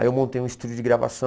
Aí eu montei um estúdio de gravação.